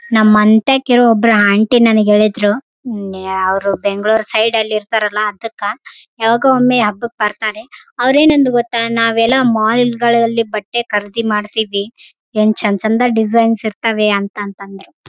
ಇದು ಬಂತು ಪ್ಲೇಸ್ ಎಲ್ಲಿ ಗೊತ್ತಿಲ್ಲ. ಅದ್ದ್ರೆಲ್ಲಾ ಬಿಲ್ಡಿಂಗ್ ಇದೆ. ನೋಡಕ್ಕೆಲ್ಲ ಸೈಲೆಂಟ್ ಏರಿಯಾ ತರಹ ಇದೆ .